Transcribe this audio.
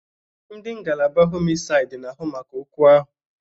Ndị ngalaba homisaid n'ahụ maka okwu ahu